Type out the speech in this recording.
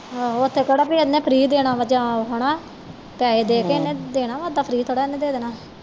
ਆਹੋ ਉਥੇ ਕਿਹੜਾ ਉਹਨੇ free ਦੇਣਾ ਵਾ ਜਾਂ ਹੈ ਨਾ ਪੈਹੇ ਦੇਕੇ ਇਹਨੇ ਦੇਣੇ ਇਹਦਾ free ਥੋੜੇ ਇਹਨੇ ਦੇਣਾ ਵਾ